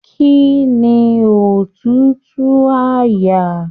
Kínní òtútù àyà?.